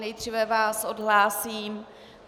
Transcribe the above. Nejdříve vás odhlásím.